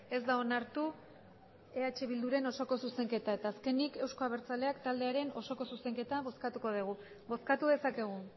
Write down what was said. ez da onartu eh bilduren osoko zuzenketa eta azkenik euzko abertzaleak taldearen osoko zuzenketa bozkatuko dugu bozkatu dezakegu